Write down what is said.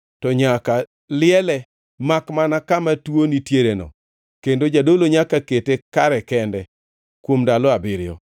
to nyaka liele makmana kama tuo nitiereno, kendo jadolo nyaka kete kare kende kuom ndalo abiriyo.